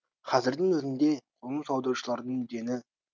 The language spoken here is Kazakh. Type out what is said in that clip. қазірдің өзінде қоныс аударушылардың дені